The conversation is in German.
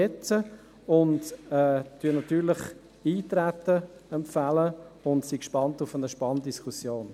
Natürlich empfehlen wir Eintreten und sind gespannt auf eine spannende Diskussion.